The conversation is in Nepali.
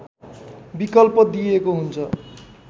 विकल्प दिइएको हुन्छ